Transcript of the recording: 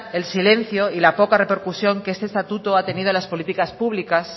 el silencio y la poca repercusión que este estatuto ha tenido en las políticas públicas